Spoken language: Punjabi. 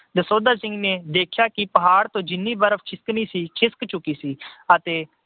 ਦਸੌਂਧਾ ਸਿੰਘ ਨੇ ਦੇਖਿਆ ਕਿ ਪਹਾੜ ਤੋਂ ਜਿੰਨੀ ਬਰਫ ਖਿਸਕਣੀ ਸੀ, ਖਿਸਕ ਚੁੱਕੀ ਸੀ ਅਤੇ